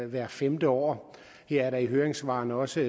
hvert femte år her er der i høringssvarene også